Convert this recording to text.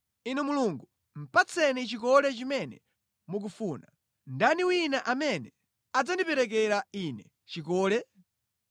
“Inu Mulungu, patseni chikole chimene mukufuna. Ndani wina amene adzandiperekera ine chikole?